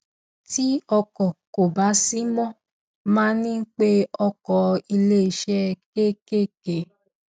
tí ọkọ kò bá sí mo máa ń pe ọkọ iléeṣé kékèké